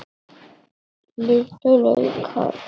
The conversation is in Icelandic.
Litlu laukar.